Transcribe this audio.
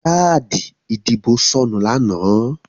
Káàdì ìdìbò sọnù lánàá.